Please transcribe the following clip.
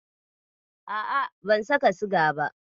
A'a, ban saka siga ba.